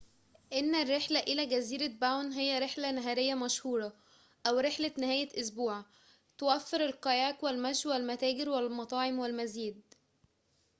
إن الرحلة إلى جزيرة باون هى رحلة نهارية مشهورة أو رحلة نهاية أسبوع توفر الكاياك والمشي والمتاجر والمطاعم والمزيد